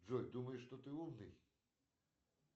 джой думаешь что ты умный